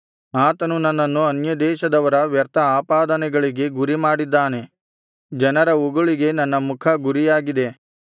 ಆತನು ನನ್ನನ್ನು ಅನ್ಯದೇಶದವರ ವ್ಯರ್ಥ ಆಪಾದನೆಗಳಿಗೆ ಗುರಿ ಮಾಡಿದ್ದಾನೆ ಜನರ ಉಗುಳಿಗೆ ನನ್ನ ಮುಖ ಗುರಿಯಾಗಿದೆ